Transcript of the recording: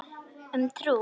Um trú.